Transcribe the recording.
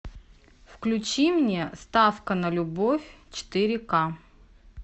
включи мне ставка на любовь четыре ка